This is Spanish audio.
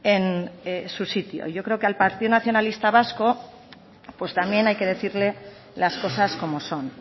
en su sitio yo creo que al partido nacionalista vasco pues también hay que decirle las cosas como son